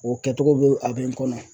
O kɛcogo be a be n kɔnɔ